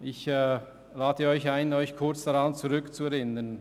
Ich lade Sie ein, sich kurz zu erinnern: